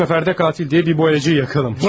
Bu səfər də qatil deyil bir boyacıyı yakalam.